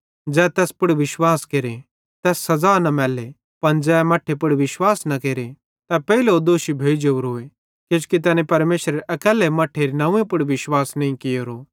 ज़ै तैस पुड़ विश्वास केरते तैस सज़ा न मैल्ले पन ज़ै मट्ठे पुड़ विश्वास न केरे तै पेइलोए दोषी भोइ जोरोए किजोकि तैनी परमेशरेरे अकैल्ले मट्ठेरे नंव्वे पुड़ विश्वास नईं कियोरो